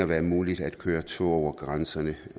være muligt at køre tog over grænserne